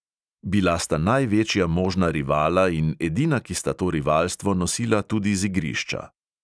Bila sta največja možna rivala in edina, ki sta to rivalstvo nosila tudi z igrišča.